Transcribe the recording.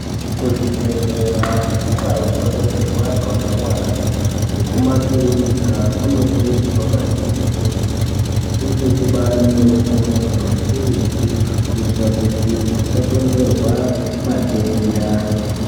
Kuzvibhedhlera nekundau dzinobetserwa antu anorwara nekumakirinika, kunokurudzirwa maningi kuti kunge kubari neutsanana, hukurutu, kuyitira kuti kusakonzerwa matenda.